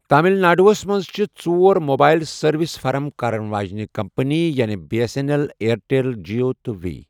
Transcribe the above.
تامل ناڈوہس منٛز چھِ ژور موبایل سٔروِس فراہم کرن واجنہِ کمپٔنی یعنے B S N L, Airtel, Jio تہٕ وی۔